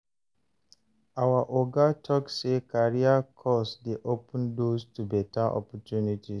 Our oga tok sey career course dey open doors to beta opportunities.